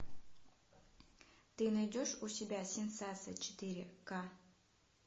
ты найдешь у себя сенсация четыре ка